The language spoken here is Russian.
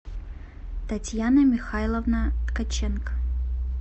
татьяна михайловна ткаченко